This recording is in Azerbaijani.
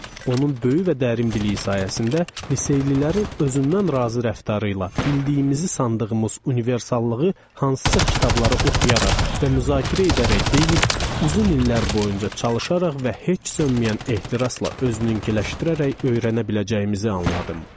Onun böyük və dərin biliyi sayəsində liseylilərin özündən razı rəftarı ilə bildiyimizi sandığımız universallığı hansısa kitabları oxuyaraq və müzakirə edərək deyil, uzun illər boyunca çalışaraq və heç sönməyən ehtirasla özünküləşdirərək öyrənə biləcəyimizi anladım.